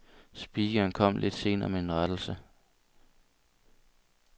Speakeren kom lidt senere med en rettelse.